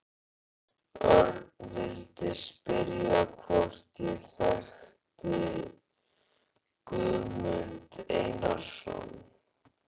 Örn vildi spyrja hvort ég þekkti Guðmund Einarsson.